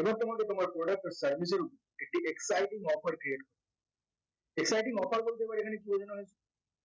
এবার তোমাকে তোমার product এর service এর একটি exciting offer create exciting offer বলতে পারি এখানে কি বোঝানো হয়েছে